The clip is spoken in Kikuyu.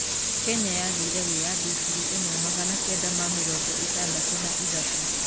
Kenya yagĩire wĩyathi ngiri ĩmwe magana kenda ma mĩrongo ĩtandatũ na ithatũ.